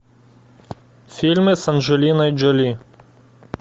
фильмы с анджелиной джоли